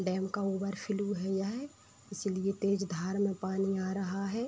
dam का overflow हुआ है इसलिए तेज धार में पानी आ रहा है |